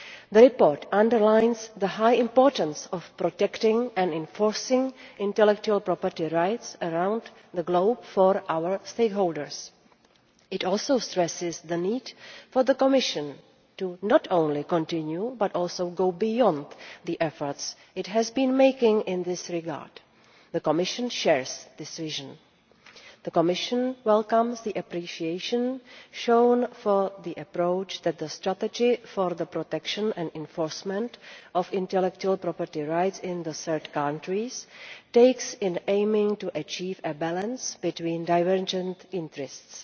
The report underlines the high importance of protecting and enforcing intellectual property rights around the globe for our stakeholders. It also stresses the need for the Commission to not only continue but also go beyond the efforts it has been making in this regard. The Commission shares this vision. The Commission welcomes the appreciation shown for the approach that the strategy for the protection and enforcement of intellectual property rights in third countries takes in aiming to achieve a balance between divergent interests.